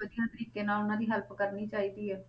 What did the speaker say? ਵਧੀਆ ਤਰੀਕੇ ਨਾਲ ਉਹਨਾਂ ਦੀ help ਕਰਨੀ ਚਾਹੀਦੀ ਹੈ